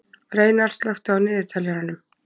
Reynar, slökktu á niðurteljaranum.